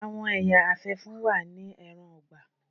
Àwọn ẹya afẹfun wa ni ẹran-ọgbà.